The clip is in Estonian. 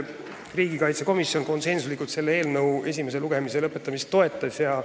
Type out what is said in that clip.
Riigikaitsekomisjon toetas selle eelnõu esimese lugemise lõpetamist konsensuslikult.